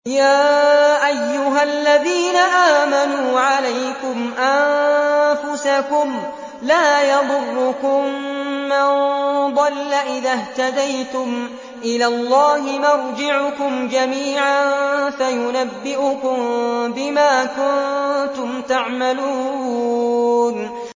يَا أَيُّهَا الَّذِينَ آمَنُوا عَلَيْكُمْ أَنفُسَكُمْ ۖ لَا يَضُرُّكُم مَّن ضَلَّ إِذَا اهْتَدَيْتُمْ ۚ إِلَى اللَّهِ مَرْجِعُكُمْ جَمِيعًا فَيُنَبِّئُكُم بِمَا كُنتُمْ تَعْمَلُونَ